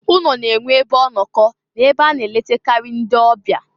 Ụnọ na-enwe ebe ọnọkọ na ebe a na-eletakarị ndị ọbịa.